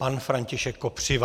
Pan František Kopřiva.